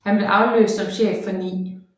Han blev afløst som chef for 9